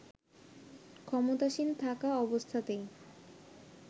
ক্ষমতাসীন থাকা অবস্থাতেই